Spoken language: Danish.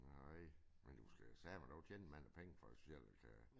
Nej men du skal sateme dog tjene mange penge for specielt at kan